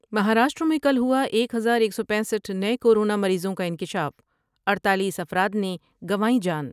مہاراشٹر میں کل ہوا ایک ہزار ایک سو پینسٹھ نئے کورونا مریضوں کا انکشاف اڈتالیس افراد نے گنوائی جان ۔